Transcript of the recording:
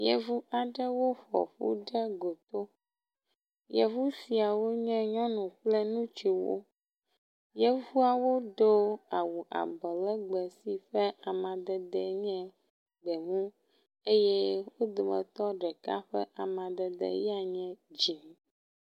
Yevu aaɖewo ƒoƒu ɖe goto. Yevu siawo nye nyɔnu kple ŋutsuwo. Yevuawo do awu abɔlegbe si ƒe amadede nye gbemu eye wo dometɔ ɖeka ƒe amadede ya nye dzi.